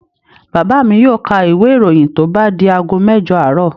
Bàbá mi yóò ka ìwé-ìròyìn tó bá di ago mẹ́jọ àárọ̀.